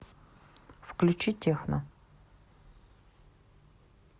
включи техно